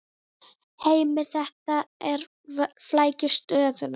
Heimir: Þetta flækir stöðuna?